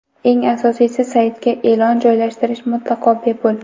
Eng asosiysi, saytga e’lon joylashtirish mutlaqo bepul.